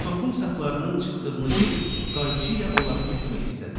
Topun saplarının çıxdığını görüb qayçı ilə onları kəsmək istədi.